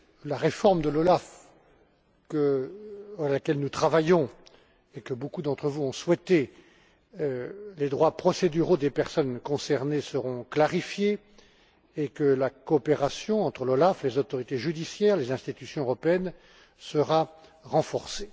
la réforme de l'OLAF, à laquelle nous travaillons, et que beaucoup d'entre vous ont souhaitée, les droits procéduraux des personnes concernées seront clarifiés et que la coopération entre l'OLAF, les autorités judiciaires et les institutions européennes sera renforcée.